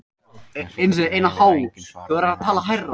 Þessu getur eiginlega enginn svarað nema andinn sjálfur.